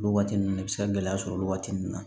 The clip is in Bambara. Olu waati ninnu bɛ se ka gɛlɛya sɔrɔ olu waati ninnu na